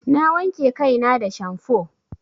Na wanke kai na da shamfo.